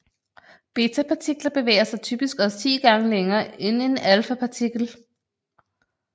Betapartikler bevæger sig typisk også 10 gange længere end en alfapartikel